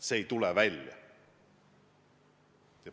See ei tule avalikuks.